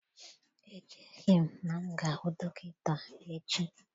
Echeghị m na m ga-ahụ dọkịta echi